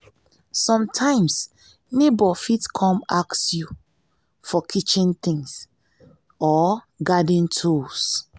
sometimes neighbour fit you come ask you for kitchen things or garden tools